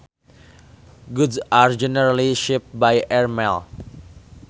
Goods are generally shipped by airmail